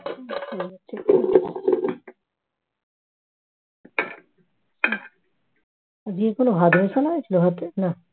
আজকে কোন ভাত বসানো হয়েছিল হাড়িতে না